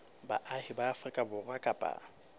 baahi ba afrika borwa kapa